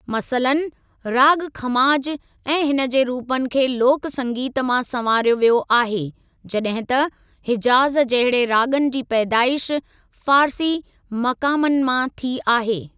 मसलन, राॻ खमाज ऐं हिनजे रूपनि खे लोक संगीत मां संवारियो वियो आहे, जॾहिं त हिजाज़ जहिडे राॻनि जी पैदाइश फारसी मक़ामनि मां थी आहे।